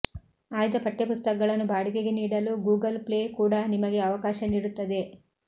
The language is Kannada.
ಆಯ್ದ ಪಠ್ಯಪುಸ್ತಕಗಳನ್ನು ಬಾಡಿಗೆಗೆ ನೀಡಲು ಗೂಗಲ್ ಪ್ಲೇ ಕೂಡ ನಿಮಗೆ ಅವಕಾಶ ನೀಡುತ್ತದೆ